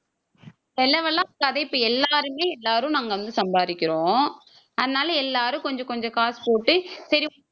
செலவெல்லாம் இப்ப எல்லாருமே எல்லாரும் நாங்க வந்து சம்பாதிக்கிறோம் அதனால எல்லாரும் கொஞ்சம் கொஞ்சம் காசு போட்டு சரி